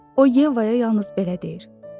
O Yevaya yalnız belə deyir: